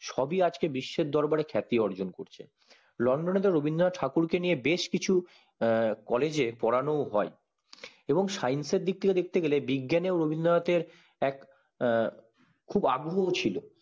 সব ই আজ বিশ্বের দরবারে খ্যাতি অর্জন করছে লন্ডন এ তো রবীন্দ্রনাথ ঠাকুর কে নিয়ে বেশকিছু আঃ college এ পড়ানো ও হয় এবং science দিক থেকে দেখতে গেলে বিজ্ঞান এ রবীন্দ্রনাথ এর আঃ খুব আগ্রহী ছিল